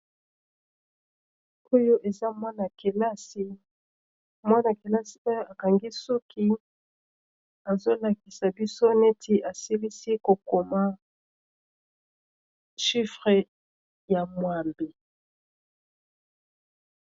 oyo eza mwana-kelasi mwana-kelasi e akangi suki azolakisa biso neti asilisi kokoma shifre ya mwabe